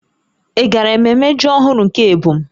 Ị gara mmemme ji ọhụrụ nke ebo m?